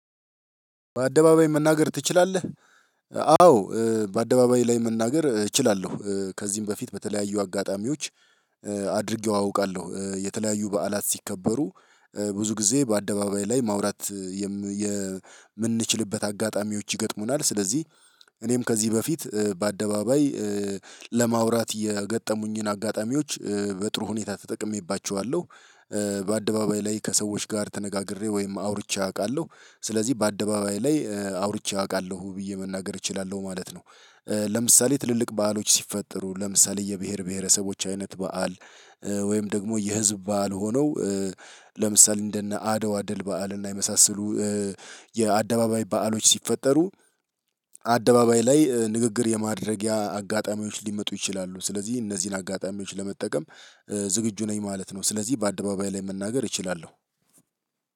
በአደባባይ መናገር ትችላለህ? አዎ በአደባባይ ላይ መናገር እችላለሁ ከዚህም በፊት በተለያዩ አጋጣሚዎች አድርጌው አውቃለሁ የተለያዩ በዓላት ሲከበሩ ብዙ ጊዜ በአደባባይ ላይ ማውራት የምንችልበት አጋጣሚዎች ይገጥሙናል። ስለዚህ እኔም ከዚህ በፊት በአደባባይ ለማውራት የገጠሙኝን አጋጣሚዎች በጥሩ ሁኔታ ተጠቅሜባቸዋለሁ። በአደባባይ ላይ ከሰዎች ጋር ተነጋግሬ ወይም አውርቼ አውቃለሁ ስለዚህ በአደባባይ ላይ አውርቼ አውቃለሁ ብዬ መናገር እችላለሁ ማለት ነው። ለምሳሌ ትልልቅ በዓሎች ሲፈጠሩ ለምሳሌ የብሄር ብሄረሰቦች አይነት በዓል። ወይም ደግሞ የህዝብ በዓል ሆነው ለምሳሌ እንደነ አደዋ ድል በዓል እና የመሳሰሉ የአደባባይ በዓሎች ሲፈጠሩ። አደባባይ ላይ ንግግር የማድረጊያ አጋጣሚዎች ሊመጡ ይችላሉ ስለዚህ እነዚህን አጋጣሚዎች ለመጠቀም ዝግጁ ነኝ ማለት ነው። ስለዚህ በአደባባይ ላይ መናገር እችላለሁ።